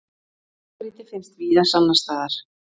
blágrýti finnst víða annars staðar